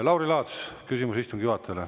Lauri Laats, küsimus istungi juhatajale.